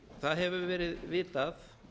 það hefur verið vitað